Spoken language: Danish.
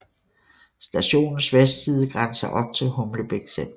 Stationens vestside grænser op til Humlebæk Centret